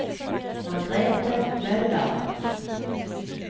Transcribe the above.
Margrete Møller